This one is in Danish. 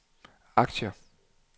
aktier